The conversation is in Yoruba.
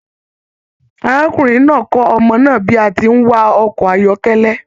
Arákùnrin náà kọ ọmọ náà bí a tí n wa ọkọ ayọkẹlẹ